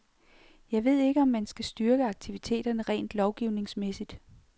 Jeg ved ikke, om man kan styrke aktiviteterne rent lovgivningsmæssigt.